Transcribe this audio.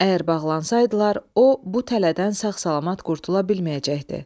Əgər bağlansaydılar, o bu tələdən sağ-salamat qurtula bilməyəcəkdi.